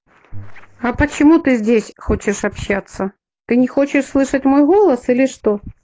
а почему ты здесь хочешь общаться ты не хочешь слышать мой голос или что